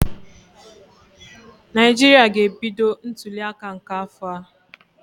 Naijiria ga-ebido ntuliaka nke afọ a.